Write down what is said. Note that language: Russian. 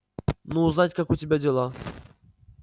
ну узнать как у тебя дела